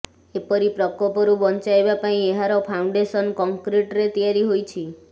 ଏପରି ପ୍ରକୋପରୁ ବଞ୍ଚାଇବା ପାଇଁ ଏହାର ଫାଉଣ୍ଡେସନ କଂକ୍ରିଟରେ ତିଆରି ହୋଇଛି